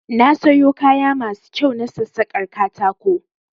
Na sayo kaya masu kyau na sassakar katako